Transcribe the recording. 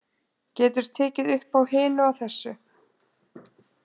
Getur tekið uppá hinu og þessu.